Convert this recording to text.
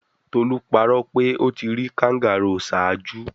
Tolu parọ pe o ti ri kangaroo ṣaaju